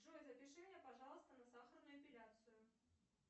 джой запиши меня пожалуйста на сахарную эпиляцию